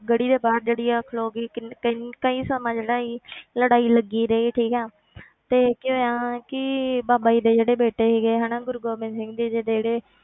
ਗੜੀ ਦੇ ਬਾਹਰ ਜਿਹੜੀ ਆ ਖਲੋ ਗਈ ਕਿੰਨ ਕਿੰਨ ਕਈ ਸਮਾਂ ਜਿਹੜਾ ਸੀ ਲੜਾਈ ਲੱਗੀ ਰਹੀ ਠੀਕ ਹੈ ਫਿਰ ਕੀ ਹੋਇਆ ਕਿ ਬਾਬਾ ਜੀ ਦੇ ਜਿਹੜੇ ਬੇਟੇ ਸੀਗੇ ਹਨਾ ਗੁਰੂ ਗੋਬਿੰਦ ਸਿੰਘ ਜੀ ਦੇ ਜਿਹੜੇ